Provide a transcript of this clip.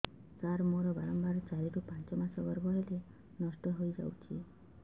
ସାର ମୋର ବାରମ୍ବାର ଚାରି ରୁ ପାଞ୍ଚ ମାସ ଗର୍ଭ ହେଲେ ନଷ୍ଟ ହଇଯାଉଛି